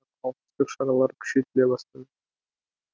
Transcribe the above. қауіпсіздік шаралары күшейтіле бастады